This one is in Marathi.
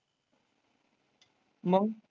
मग?